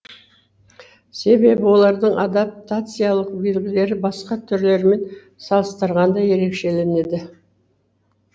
себебі олардың адаптациялық белгілері басқа түрлермен салыстырғанда ерекшеленеді